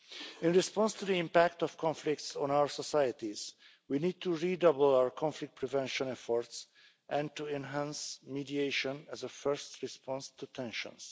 In response to the impact of conflicts on our societies, we need to redouble our conflict prevention efforts and to enhance mediation as a first response to tensions.